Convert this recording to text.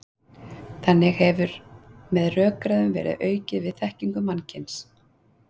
Þannig hefur með rökræðum verið aukið við þekkingu mannkyns.